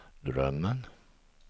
drömmen